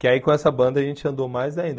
Que aí com essa banda a gente andou mais ainda.